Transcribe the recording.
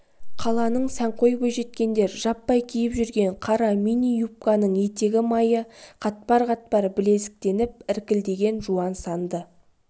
қаланың сәнқой бойжеткендер жаппай киіп жүрген қара мини-юбканың етегі майы қатпар-қатпар білезіктеніп іркілдеген жуан санды